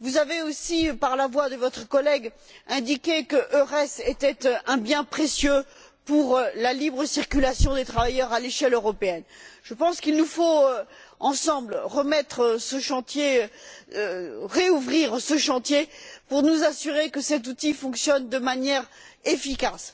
vous avez aussi, par la voie de votre collègue, indiqué qu'EURES était un bien précieux pour la libre circulation des travailleurs à l'échelle européenne. Je pense qu'il nous faut, ensemble, rouvrir ce chantier pour nous assurer que cet outil fonctionne de manière efficace.